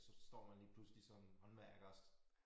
Og så står man lige pludselig som håndværker og